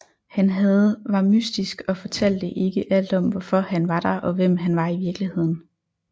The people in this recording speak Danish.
Han havde var mystisk og fortalte ikke alt om hvorfor han var der og hvem han var i virkeligheden